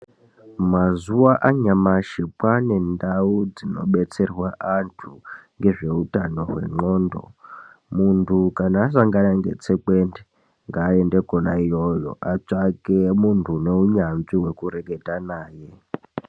Mazuwa anyamashi kwaane ndau dzinobetserwa antu, ngezveutano hwendxondo. Muntu kana asangana netsekwende, ngaaende kona iyoyo ,atsvake muntu une unyanzvi wekureketa naye.